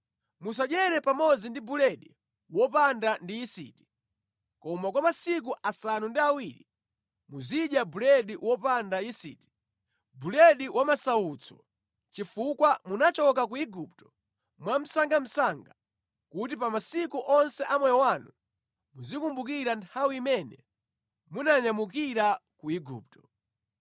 Musadyere pamodzi ndi buledi wopanga ndi yisiti, koma kwa masiku asanu ndi awiri muzidya buledi wopanda yisiti, buledi wa masautso, chifukwa munachoka ku Igupto mwamsangamsanga kuti pa masiku onse a moyo wanu muzikumbukira nthawi imene munanyamukira ku Igupto.